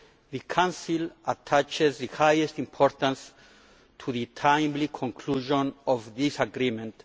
The Council attaches the highest importance to the timely conclusion of this agreement.